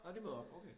Nå de møder op okay